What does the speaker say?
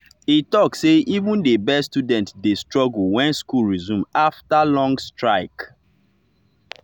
e talk say even the best students dey struggle when school resume after long strike.